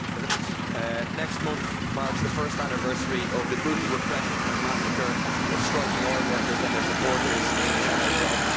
Mr President, next month marks the first anniversary of the brutal repression and massacre of striking oil workers and their supporters in Zhanaozen.